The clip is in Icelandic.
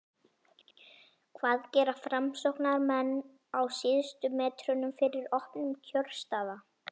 hvað gera framsóknarmenn á síðustu metrunum fyrir opnun kjörstaða?